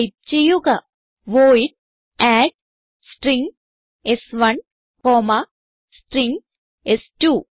type ചെയ്യുക void add string s one comma string സ്2